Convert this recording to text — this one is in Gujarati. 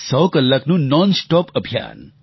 100 કલાકનું નોન સ્ટોપ અભિયાન